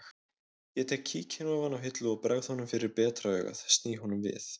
Ég tek kíkinn ofan af hillu og bregð honum fyrir betra augað sný honum við